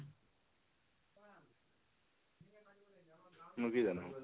মই কি জানো